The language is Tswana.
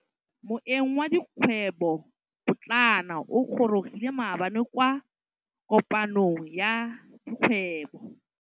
Moêng wa dikgwêbô pôtlana o gorogile maabane kwa kopanong ya dikgwêbô.